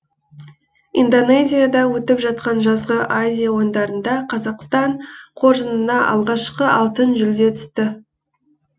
индонезияда өтіп жатқан жазғы азия ойындарында қазақстан қоржынына алғашқы алтын жүлде түсті